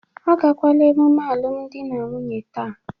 Agakwala ememe alụmdi na nwunye taa.